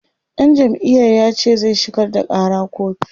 ɗan jam'iyar yace zai shigar da ƙara kotu